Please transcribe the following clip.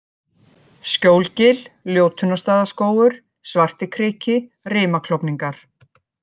Skjólgil, Ljótunarstaðaskógur, Svartikriki, Rimaklofningar